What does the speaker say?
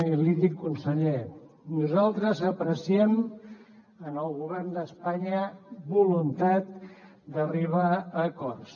i l’hi dic conseller nosaltres apreciem en el govern d’espanya voluntat d’arribar a acords